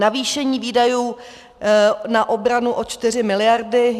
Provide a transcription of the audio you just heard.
Navýšení výdajů na obranu o 4 miliardy.